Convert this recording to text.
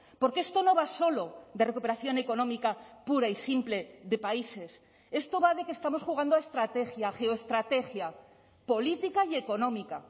porque esto no va solo de recuperación económica pura y simple de países esto va de que estamos jugando a estrategia geoestrategia política y económica